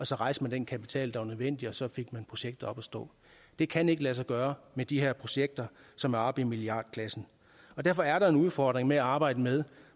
så rejste man den kapital der var nødvendig og så fik man projektet op at stå det kan ikke lade sig gøre med de her projekter som er oppe i milliardklassen derfor er der en udfordring med at arbejde med